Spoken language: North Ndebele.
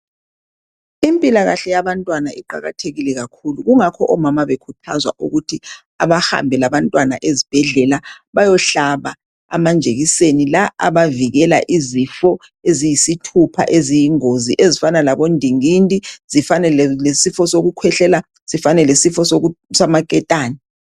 impilakahle yabantwana iqakathekile kakhulu yingakho omama behlala bekhuthazwa ukuthi abahambe labantwana ezibhedlela bayehlaba amajekiseni avikela izifo eziyisithupha eziyingozi ezifana labo ndingindi, sifane lesifuo sokukwehlela, sifana lesifo samaketane